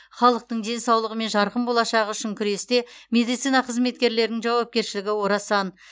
халықтың денсаулығы мен жарқын болашағы үшін күресте медицина қызметкерлерінің жауапкершілігі орасан